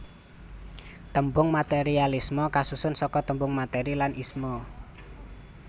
Tembung materialisme kasusun saka tembung materi lan isme